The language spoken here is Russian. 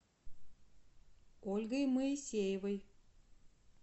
ольгой моисеевой